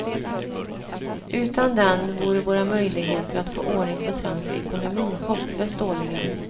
Utan den vore våra möjligheter att få ordning på svensk ekonomi hopplöst dåliga.